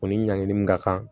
O ni ɲankili ka kan